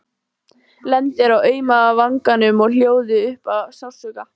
Lendir á auma vanganum og hljóðar upp af sársauka.